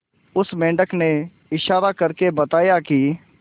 उस मेंढक ने इशारा करके बताया की